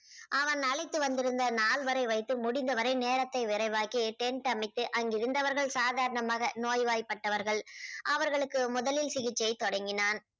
அவன் அழைத்து வந்திருந்த நால்வரை வைத்து முடிந்தவரை நேரத்தை விரைவாக்கி tent அமைத்து அங்கிருந்தவர்கள் சாதாரணமாக நோய்வாய்பட்டவர்கள் அவர்களுக்கு முதலில் சிகிச்சை தொடங்கினான்